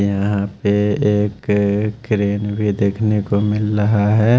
यहां पे एक क्रेन भी देखने को मिल रहा है।